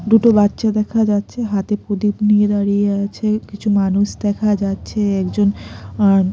দুটো বাচ্চা দেখা যাচ্ছে হাতে প্রদীপ নিয়ে দাঁড়িয়ে আছে কিছু মানুষ দেখা যাচ্ছে একজন আন--